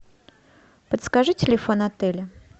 подскажи телефон отеля